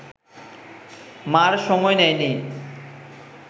মা’র সময় নেয়নি